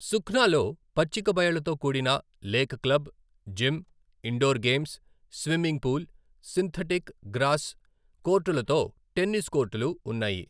సుఖ్నాలో పచ్చిక బయళ్ళతో కూడిన lake club, gym, indoor games, swimming pool, synthetic, grass కోర్టులతో టెన్నిస్ కోర్టులు ఉన్నాయి.